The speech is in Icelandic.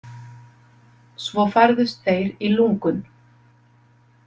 Svo færðust þeir í lungun.